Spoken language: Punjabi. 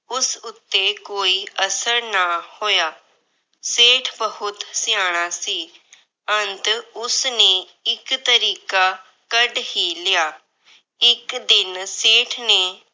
ਉਸ ਉਤੇ ਕੋਈ ਅਸਰ ਨਾ ਹੋਇਆ। ਸੇਠ ਬਹੁਤ ਸਿਆਣਾ ਸੀ। ਅੰਤ ਉਸਨੇ ਇੱਕ ਤਰੀਕਾ ਕੱਢ ਹੀ ਲਿਆ। ਇੱਕ ਦਿਨ ਸੇਠ ਨੇ ਆਪਣੇ ਪੁੱਤਰ ਨੂੰ ਆਪਣੇ ਕੋਲ ਬੁਲਾਇਆ। ਉਸਨੇ